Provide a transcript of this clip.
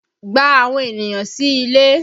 Gba àwọn ènìyàn sí ilé!